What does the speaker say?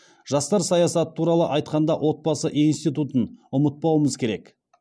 жастар саясаты туралы айтқанда отбасы институтын ұмытпауымыз керек